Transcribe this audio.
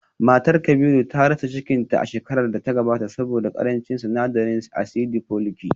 Matar Kabiru ta rasa cikinta a shekarar da ta gabata saboda karancin sinadarin asidi foliniki